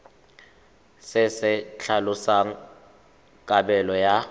se se tlhalosang kabelo ya